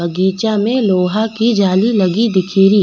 बगीचा में लोहा की जाली लगी दिखे री।